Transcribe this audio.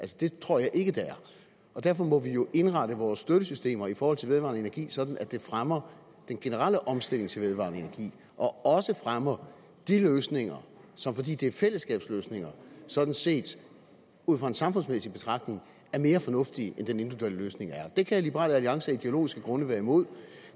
det tror jeg ikke det er derfor må vi jo indrette vores støttesystemer i forhold til vedvarende energi sådan at det fremmer den generelle omstilling til vedvarende energi og også fremmer de løsninger som fordi de er fællesskabsløsninger sådan set ud fra en samfundsmæssig betragtning er mere fornuftige end den individuelle løsning er det kan liberal alliance af ideologiske grunde være imod